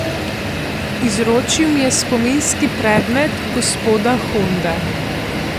Izročil mi je spominski predmet gospoda Honde.